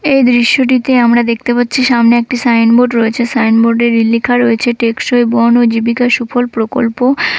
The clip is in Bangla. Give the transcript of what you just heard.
এই দৃশ্যটিতে আমরা দেখতে পাচ্ছি সামনে একটি সাইনবোর্ড রয়েছে সাইনবোর্ড এ লেখা রয়েছে টেকসই বল ও জীবিকা সুফল প্রকল্প।